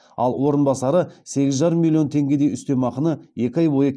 ал орынбасары сегіз жарым миллион теңгедей үстемақының екі ай бойы